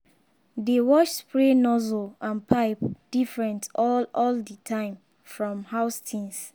dey wash spray nozzle and pipe different all all the time from house things.